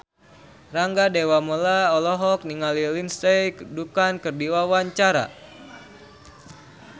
Rangga Dewamoela olohok ningali Lindsay Ducan keur diwawancara